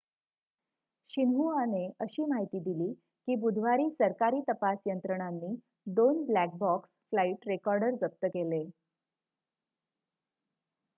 शिन्हुआने अशी माहिती दिली की बुधवारी सरकारी तपास यंत्रणांनी 2 ब्लॅक बॉक्स' फ्लाईट रेकॉर्डर जप्त केले